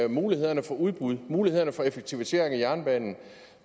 mulighederne for udbud mulighederne for effektivisering af jernbanen